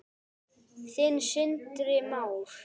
Þinn, Sindri Már.